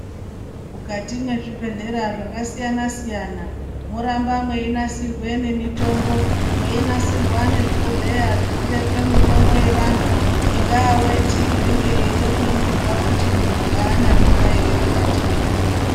Mukati mezvibhedhlera zvakasiyana-siyana munoramba mweinasirwa nemitombo. Mweinasirwa nezvibhohleya zvinobekwa mitombo yevantu, ingava weti inenge ichida kuningirwa kuti muntu haana mimba ere mukati mwendani yakwe.